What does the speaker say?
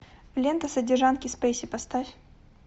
лента содержанки спейси поставь